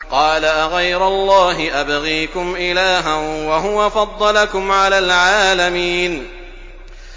قَالَ أَغَيْرَ اللَّهِ أَبْغِيكُمْ إِلَٰهًا وَهُوَ فَضَّلَكُمْ عَلَى الْعَالَمِينَ